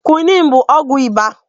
Kwiniin bụ ọgwụ ịba